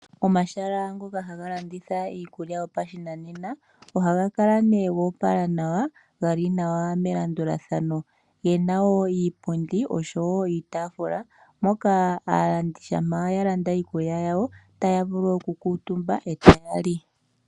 Omahala ngoka haga landitha iikulya yopashinanena ohaga kala nee goopala nawa, geli nawa melandulathano. Gena wo iipundi osho wo iitaafula, moka aalandi shampa yalanda iikulya yawo taya vulu oku kuutumba eta li.